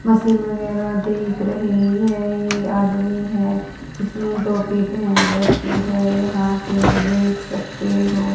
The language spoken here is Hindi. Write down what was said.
मशीन वगैरह दिख रही है ये आदमी है इसने टोपी पहन रखी है यहां पे देख सकते हो--